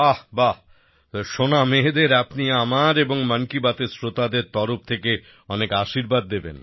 বাহ্ বাহ্ সোনা মেয়েদের আপনি আমার এবং মন কি বাতএর শ্রোতাদের তরফ থেকে অনেক আশীর্বাদ দেবেন